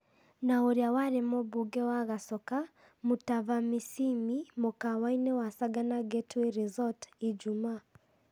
Na ũrĩa warĩ mũmbunge wa Gachoka, Mutava Musyimi, mũkawa-inĩ wa Sagana Getaway Resort, ijumaa.